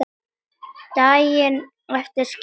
Daginn eftir skildu leiðir.